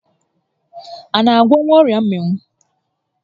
A na agwọnwu ọrịa mmịnwụ?